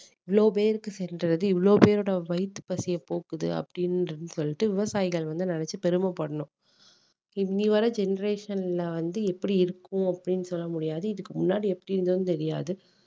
இவ்வளோ பேருக்கு சென்றது இவ்வளோ பேரொட வயித்து பசிய போக்குது அப்படீன்னு சொல்லிட்டு விவசாயிகள வந்து நினைச்சு பெருமை படணும் இன்னை வரை generation ல வந்து எப்படி இருக்கும் அப்படீன்னு சொல்ல முடியாது இதுக்கு முன்னாடி எப்படி இருந்ததுன்னும் தெரியாது